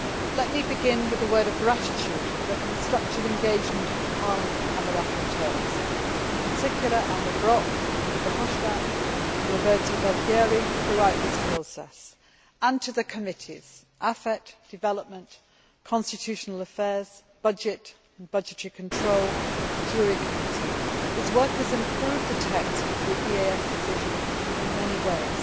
Let me begin with a word of gratitude for the constructive engagement of Parliament and the rapporteurs in particular, Elmar Brok, Guy Verhofstadt and Roberto Gualtieri throughout this process, and to the committees AFET, Development, Constitutional Affairs, Budget and Budgetary Control, the JURI Committee whose work has improved the text of the EAS decision in many ways.